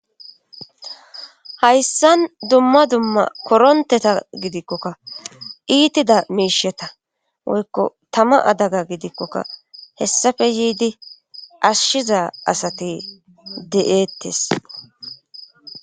hayssan dumma dumma koronteta gidikkokka iitida miisheta woykko tama adaga gidikkokka hessafe yiidi ashshiza asate de7eettes